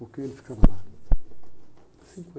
Porque ele ficava lá